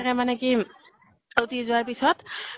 কে মানে কি । উটি যোৱা পিছত